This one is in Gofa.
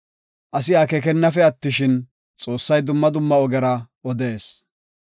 Asi akeekennafe attishin, Xoossay dumma dumma ogera odees.